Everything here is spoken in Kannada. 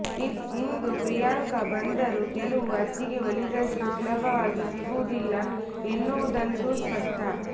ಇಂದು ಪ್ರಿಯಾಂಕಾ ಬಂದರೂ ಗೆಲವು ಅಜ್ಜಿಗೆ ಒಲಿದಷ್ಟು ಸುಲಭವಾಗಿ ಸಿಗುವುದಿಲ್ಲ ಎನ್ನುವುದಂತೂ ಸ್ಪಷ್ಟ